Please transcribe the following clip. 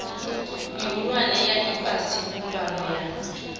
mihulwane ya ifhasi mbumbano ya